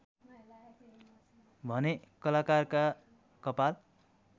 भने कलाकारका कपाल